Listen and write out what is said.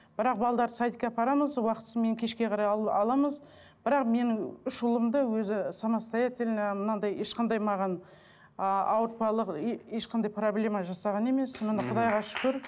бірақ садикке апарамыз уақытысымен кешке қарай аламыз бірақ менің үш ұлым да өзі самостоятельно мынандай ешқандай маған ы ауыртпалық ешқандай проблема жасаған емес құдайға шүкір